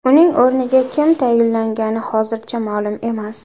Uning o‘rniga kim tayinlangani hozircha ma’lum emas.